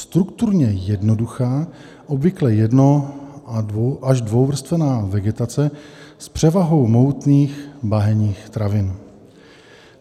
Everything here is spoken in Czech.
Strukturně jednoduchá, obvykle jedno až dvouvrstevná vegetace s převahou mohutných bahenních travin.